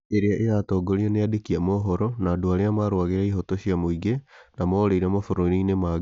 Ĩrĩa ĩratongorio nĩ andĩki a mohoro na andũ arĩa marũagĩra ihoto cia mũingĩ na morĩire mabũrũri-inĩ mangĩ.